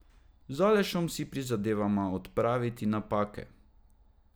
Z Alešem si prizadevava odpraviti napake.